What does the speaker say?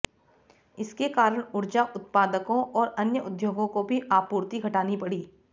इसके कारण ऊर्जा उत्पादकों और अन्य उद्योगों को भी आपूर्ति घटानी पड़ी